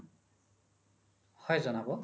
হয় জনাব